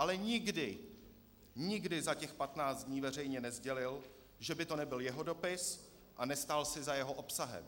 Ale nikdy, nikdy za těch 15 dní veřejně nesdělil, že by to nebyl jeho dopis, a nestál si za jeho obsahem.